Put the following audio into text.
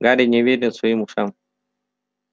гарри не верил своим ушам